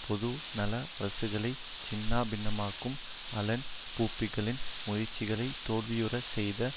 பொது நல அரசுகளை சின்னா பின்னமாக்கும் அலன் யூப்பேயின் முயற்சிகளை தோல்வியுற செய்த